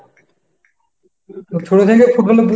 ছোট থেকে ফুটবল এর